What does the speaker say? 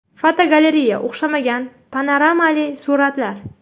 Fotogalereya: O‘xshamagan panoramali suratlar.